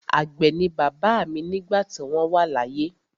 Àgbẹ̀ ni bàbá mi nígbà tí wọ́n wà láyé.